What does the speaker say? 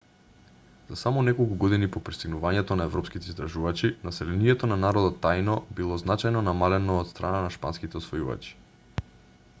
за само неколку години по пристигнувањето на европските истражувачи населението на народот таино било значајно намалено од страна на шпанските освојувачи